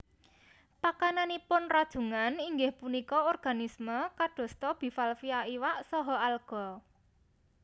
Pakananipun rajungan inggih punika organisme kadosta bivalvia iwak saha alga